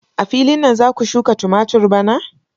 A filin nan za ku shuka tumatur bana?